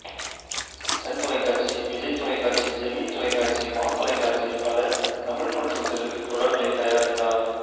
Sun தொலைக்காட்சி விஜய் தொலைக்காட்சி Gemini தொலைக்காட்சி மா தொலைக்காட்சி பல தமிழ் மற்றும் தெலுங்கு தொடர்களைத் தயாரித்தார்